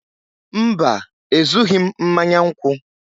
mba, Ezughị m mmanya nkwụ